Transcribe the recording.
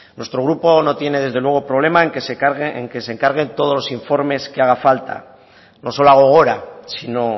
nuestro grupo no tiene desde luego problema en que se encarguen todos los informes que haga falta no solo a gogora sino